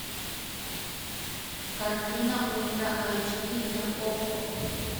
картина ультра айч ди на окко